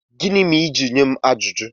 Gịnị mere i ji nye m ajụjụ?